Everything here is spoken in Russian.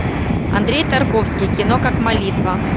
андрей тарковский кино как молитва